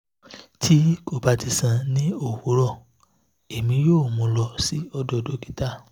ti ko ba ti san ni owurọ emi yoo mu lọ si odo dokita